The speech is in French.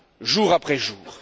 jour après jour.